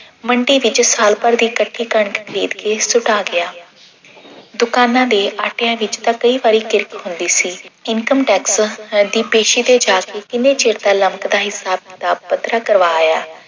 ਮੰਡੀ ਵਿੱਚੋਂ ਸਾਲ ਭਰ ਦੀ ਇਕੱਠੀ ਕਣਕ ਖਰੀਦ ਕੇ ਸੁਕਾ ਗਿਆ। ਦੁਕਾਨਾਂ ਦੇ ਆਟਿਆਂ ਵਿੱਚ ਤਾਂ ਕਈ ਵਾਰੀ ਕਿਰਕ ਹੁੰਦੀ ਸੀ income tax ਸਾਡੀ ਪੇਸ਼ੀ ਤੇ ਜਾ ਕੇ ਕਿੰਨੇ ਚਿਰ ਦਾ ਲਮਕਦਾ ਹਿੱਸਾ ਪ੍ਰਾਪਤ ਕਰਵਾਇਆ।